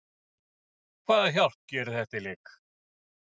Hvaða hjálp gerir þetta í leik?